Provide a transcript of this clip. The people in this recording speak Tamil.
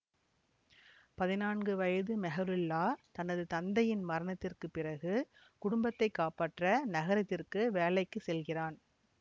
பதினான்கு வயது மெஹ்ருல்லா தனது தந்தையின் மரணத்திற்கு பிறகு குடும்பத்தைக் காப்பாற்ற நகரத்திற்கு வேலைக்கு செல்கிறான்